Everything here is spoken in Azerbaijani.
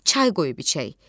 Çay qoyub içək.